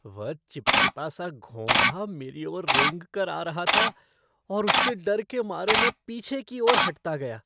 वह चिपचिपा सा घोंघा मेरी ओर रेंग कर आ रहा था और उससे डर के मारे मैं पीछे की ओर हटता गया।